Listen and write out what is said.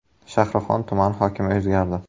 Shahrixon tumani hokimi o‘zgardi.